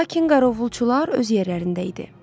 Lakin qarovulçular öz yerlərində idi.